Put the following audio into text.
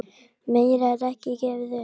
Meira er ekki gefið upp.